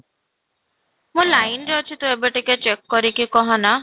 ମୁଁ line ରେ ଅଛି ତୁ ଏବେ ଟିକେ check କରିକି କହ ନା